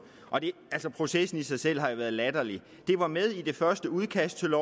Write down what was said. altså processen i sig selv har jo været latterlig det var med i det første udkast til